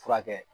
Furakɛ